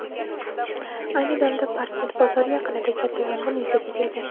Ayni damda Parkent bozori yaqinida katta yong‘in yuzaga kelgan.